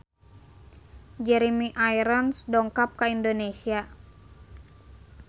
Jeremy Irons dongkap ka Indonesia